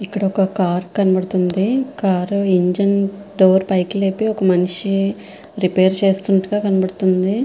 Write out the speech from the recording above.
ఇక్కడ ఒక కార్ కనబడుతూ వుంది కార్ ఇంజిన్ డోర్ పాకి లేపి ఒక మనిషి రిపేర్ చేస్తునాటు గ కనిపిస్తూ వుంది.